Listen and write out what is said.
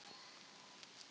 Steinvarður, áttu tyggjó?